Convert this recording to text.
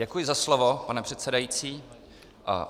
Děkuji za slovo, pane předsedající.